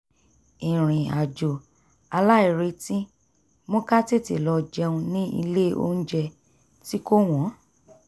ìrìn-àjò aláìretí mú ká tete lọ jẹun ní ilé onjẹ tí kò wọ́n